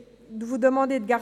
vous demander de garder